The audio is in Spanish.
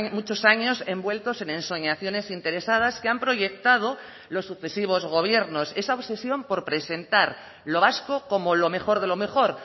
muchos años envueltos en ensoñaciones interesadas que han proyectado los sucesivos gobiernos esa obsesión por presentar lo vasco como lo mejor de lo mejor